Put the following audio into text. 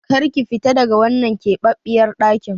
Kar ki fita daga wannan keɓaɓɓiyar ɗakin!